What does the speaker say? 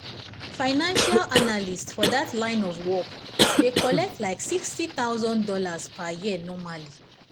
financial analyst for that line of work dey collect like $60000 per year normally